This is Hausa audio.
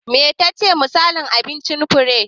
Me tace misalin abincin Fure?